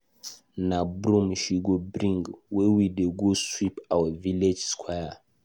Na broom she go bring, we dey go sweep our village square.